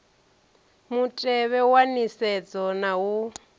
mutevhe wa nisedzo na u